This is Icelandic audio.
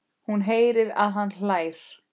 Hún heyrir að hann hlær.